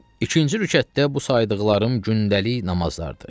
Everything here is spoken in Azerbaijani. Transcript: İkinci rükətdə bu saydıqlarım gündəlik namazlardır.